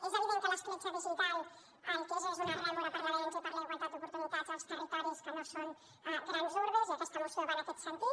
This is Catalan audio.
és evident que l’escletxa digital el que és és una rèmora per a l’avenç i per a la igualtat d’oportunitats als territoris que no són grans urbs i aquesta moció va en aquest sentit